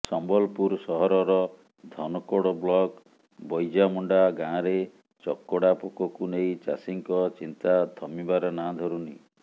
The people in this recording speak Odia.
ସମ୍ବଲପୁର ସହରର ଧନକୋଡ଼ ବ୍ଲକ ବୈଜାମୁଣ୍ଡା ଗାଁରେ ଚକଡ଼ା ପୋକକୁ ନେଇ ଚାଷୀଙ୍କ ଚିନ୍ତା ଥମିବାର ନାଁ ଧରୁନି